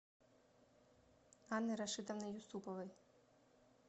анны рашитовны юсуповой